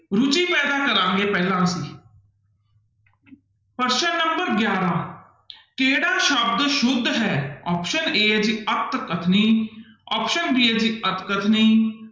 ਰੁੱਚੀ ਪੈਦਾ ਕਰਾਂਗੇ ਪਹਿਲਾਂ ਅਸੀਂ ਪ੍ਰਸ਼ਨ number ਗਿਆਰਾਂ ਕਿਹੜਾ ਸ਼ਬਦ ਸੁੱਧ ਹੈ option a ਹੈ ਜੀ ਅੱਤਕਥਨੀ option b ਹੈ ਜੀ ਅਤਕਥਨੀ